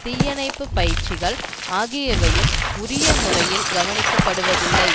தீயணைப்பு பயிற்சிகள் ஆகியவையும் உரிய முறையில் கவனிக்க படுவதில்லை